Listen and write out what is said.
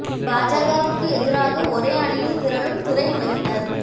பாஜக வுக்கு எதிராக ஒரே அணியில் திரளும் திரை உலகினர்